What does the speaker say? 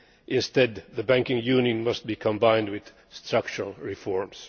Instead, the Banking Union must be combined with structural reforms.